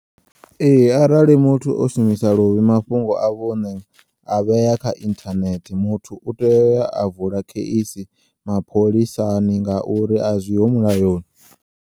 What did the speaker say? Ee, arali muthu o shumisa luvhi mafhungo a vhuṋe a vhea kha inthanethe muthu u teya uya a vula kheisi mapholisani ngauri azwiho mulayoni.